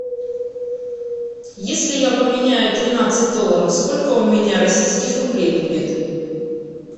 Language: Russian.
если я поменяю тринадцать долларов сколько у меня российских рублей будет